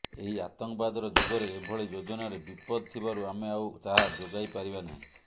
ଏଇ ଆତଙ୍କବାଦର ଯୁଗରେ ଏଭଳି ଯୋଜନାରେ ବିପଦ୍ ଥିବାରୁ ଆମେ ଆଉ ତାହା ଯୋଗାଇ ପାରିବା ନାହିଁ